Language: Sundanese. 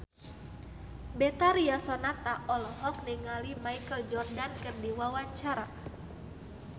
Betharia Sonata olohok ningali Michael Jordan keur diwawancara